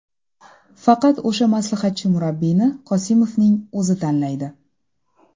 Faqat o‘sha maslahatchi murabbiyni Qosimovning o‘zi tanlaydi.